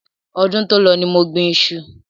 Ọdún to lọ ní mo gbìn iṣu